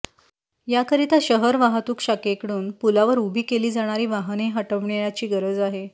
याकरिता शहर वाहतूक शाखेकडून पुलावर उभी केली जाणारी वाहने हटविण्याची गरज आहे